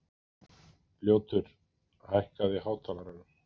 Ljótur, hækkaðu í hátalaranum.